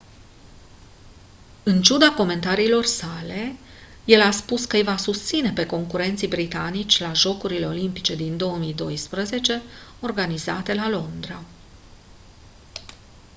în ciuda comentariilor sale el a spus că îi va susține pe concurenții britanici la jocurile olimpice din 2012 organizate la londra